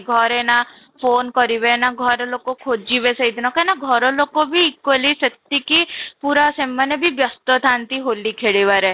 ଘରେ ନା phone କରିବେ ନା ଘର ଲୋକ ଖୋଜିବେ ସେଦିନ କାହିଁକି ନା ଘର ଲୋକ ବି equally ସେତିକି ପୁରା ସେମାନେ ବି ବ୍ୟସ୍ତ ଥାଆନ୍ତି ହୋଲି ଖେଳିବାରେ